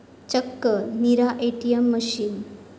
चक्क 'Neera ATM' machine!